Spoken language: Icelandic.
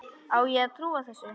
Á ég að trúa þessu?